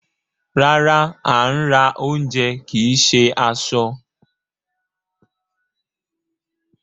Rárá, à ń ra ounjẹ kìí ṣe aṣọ.